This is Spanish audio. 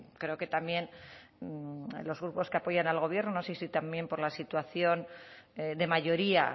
creo que también los grupos que apoyan al gobierno no sé si también por la situación de mayoría